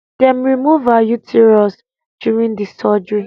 dem remove her uterus during the surgery